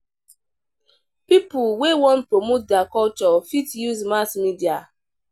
Pipo wey wan promote their culture fit use mass media.